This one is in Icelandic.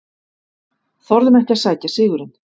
Þorðum ekki að sækja sigurinn